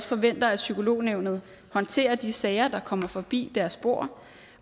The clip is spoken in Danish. forventer at psykolognævnet håndterer de sager der kommer forbi deres bord